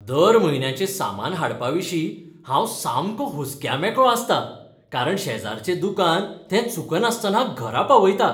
दर म्हयन्याचें सामान हाडपाविशीं हांव सामको हुस्क्या मेकळो आसतां कारण शेजारचें दुकान तें चुकनासतना घरा पावयता.